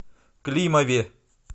климове